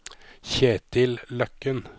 Kjetil Løkken